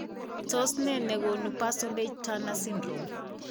Tos nee negonu Parsonage Turner syndrome ?